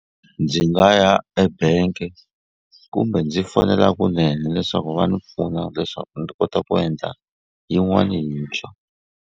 Ndzi nga ya ebank-e kumbe ndzi fonela kunene leswaku va ni pfuna leswaku ni kota ku endla yin'wani yintshwa.